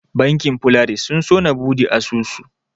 Bankin Polaris sun so na buɗe asusu.